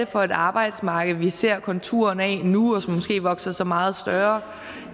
for et arbejdsmarked vi ser konturerne af nu og som måske vokser sig meget større